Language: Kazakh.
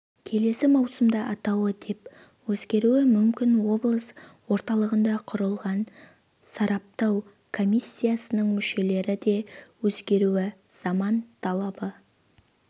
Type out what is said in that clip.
келесі маусымда атауы деп өзгеруі мүмкін облыс орталығында құрылған сараптау комиссиясының мүшелері деп өзгеруі заман талабы